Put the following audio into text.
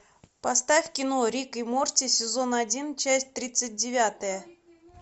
поставь кино рик и морти сезон один часть тридцать девятая